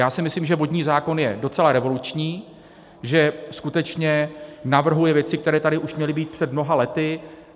Já si myslím, že vodní zákon je docela revoluční, že skutečně navrhuje věci, které tady už měly být před mnoha lety.